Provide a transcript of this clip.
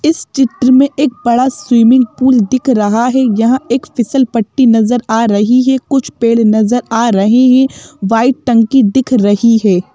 इस चित्र में एक बड़ा स्विमिंग पूल दिख रहा है यहाँ एक फिसल पट्टी नजर आ रही है कुछ पेड़ नजर आ रहे हैं वाइट टंकी दिख रही है।